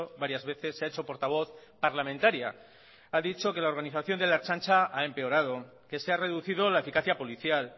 varias veces se ha hecho portavoz parlamentaria ha dicho que la organización de la ertzaintza ha empeorado que se ha reducido la eficacia policial